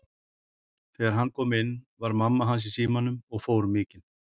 Þegar hann kom inn var mamma hans í símanum og fór mikinn.